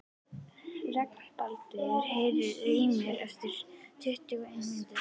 Reginbaldur, heyrðu í mér eftir tuttugu og eina mínútur.